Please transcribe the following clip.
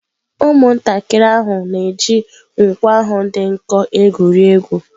Ụmụntakịrị ahụ na-eji nkwọ ahụ dị nkọ egwuri egwu.